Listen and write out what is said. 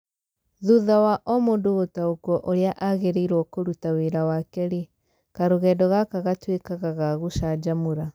Thutha wa O mũndũ gũtaũkwo ũria agĩrĩirwo kũruta wĩra wake rĩ, karũgendo gaka gatũĩkaga gagũchanjamũra.